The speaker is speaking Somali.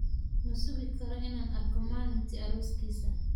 Ma sugi karo inaan arko maalintii arooskiisa.